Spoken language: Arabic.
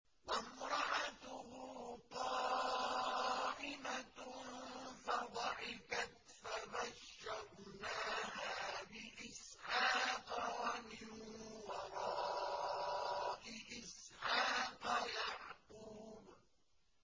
وَامْرَأَتُهُ قَائِمَةٌ فَضَحِكَتْ فَبَشَّرْنَاهَا بِإِسْحَاقَ وَمِن وَرَاءِ إِسْحَاقَ يَعْقُوبَ